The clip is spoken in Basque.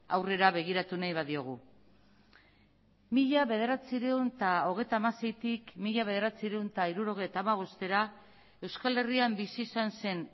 aurrera begiratu nahi badiogu mila bederatziehun eta hogeita hamaseitik mila bederatziehun eta hirurogeita hamabostera euskal herrian bizi izan zen